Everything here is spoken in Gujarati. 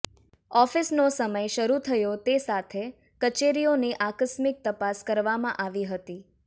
ઓફિસનો સમય શરૂ થયો તે સાથે કચેરીઓની આકસ્મિક તપાસ કરવામાં આવી હતી